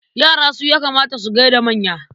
Yara su ya kamata su gai da manya.